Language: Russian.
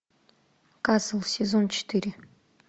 касл сезон четыре